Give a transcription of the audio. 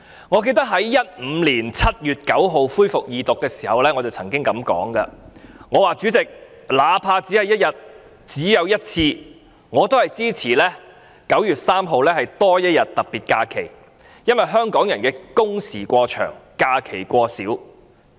我記得在2015年7月9日恢復二讀辯論時曾經表示，"主席，哪怕只有1天，只有1次，我也支持今年9月3日多放1天特別假期，因為......香港人都是工時過長，假期過少。